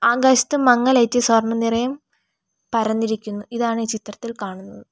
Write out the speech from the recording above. ആകാശത്ത് മങ്ങലേറ്റി സ്വർണ്ണ നിറയം പരന്നിരിക്കുന്നു ഇതാണ് ഈ ചിത്രത്തിൽ കാണുന്നത്.